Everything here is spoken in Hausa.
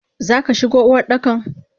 Zaka shigo Uwardakan?